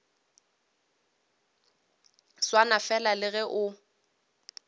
swana fela le ge o